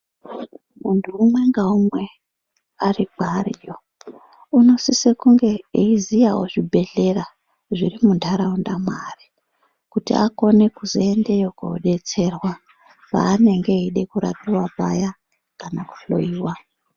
Muntu umwe ngaumwe ,ari kwaariyo unosise kunge eiziyawo zvibhedhlera, zviri muntaraunda mwaari, kuti akone kuzoendeyo kodetserwa, paanenge eide kurapiwa paya ,kana kuhloiwa.